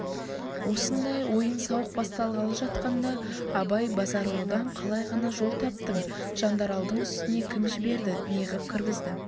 осындай ойын-сауық басталғалы жатқанда абай базаралыдан қалай ғана жол таптың жандаралдың үстіне кім жіберді неғып кіргізді